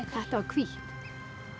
þetta var hvítt